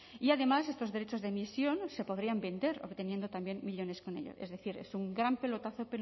y además estos derechos de emisión se podrían vender obteniendo también millónes con ello es decir es un gran pelotazo